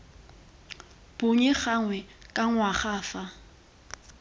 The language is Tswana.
bonnye gangwe ka ngwaga fa